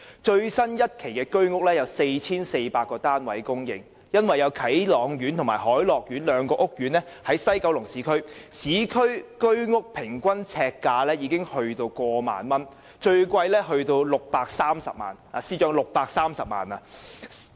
最新一期供應的居屋單位有 4,400 個，由於啟朗苑和凱樂苑兩個屋苑均位於西九龍市區，市區居屋的平均呎價已超過1萬元，最貴的單位更高達630萬元——司長，是630萬元。